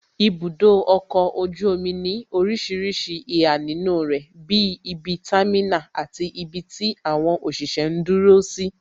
Ibudo ọkọ̀ ojú omi ní orísìírísìí ìhà nínú rẹ bí ibi támínà, àti ibi tí àwọn òṣìṣẹ́ ń dúró sí